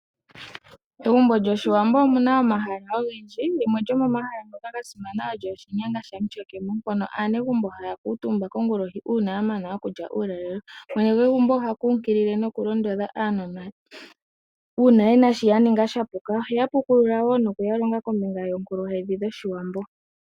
Megumbo lyoshiwambo omuna omahala ogendji. Limwe lyomomahala gasimana olyo oshinyanga shamutyakemo mpono aanegumbo haya kuutumba kongulohi uuna ya mana okulya uulalelo . Mwene gwegumbo oha kunkilile nokulondodha aanona uuna yena sho ya ninga sha puka. Oheya pukulula noku ya longa kombinga yoonkuluhedhi dhoshilongo.